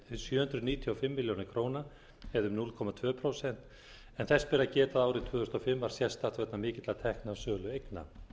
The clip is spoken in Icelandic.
hundruð níutíu og fimm milljónir en þess ber að geta að árið tvö þúsund og fimm var sérstakt vegna mikilla tekna af sölu eigna